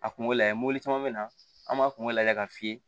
A kungo lajɛ mɔbili caman be na an b'a kungo lajɛ k'a f'i ye